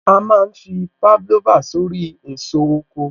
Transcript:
A má ń fi Pavlova sórí èso oko